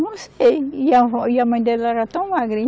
Não sei, e a vó e a mãe dela era tão magrinha.